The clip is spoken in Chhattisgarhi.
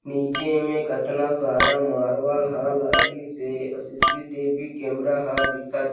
नीचे में कतना सारा मार्बल ह लागी हे अ C. C. T. V camera ह दिखत--